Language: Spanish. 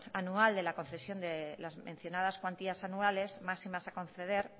anual de la concesión de las mencionadas cuantías anuales máximas a conceder